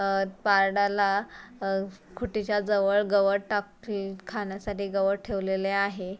अह पारडाला अह खुटीच्या जवळ गवत टाक खाण्यासाठी गवत ठेवलेले आहे.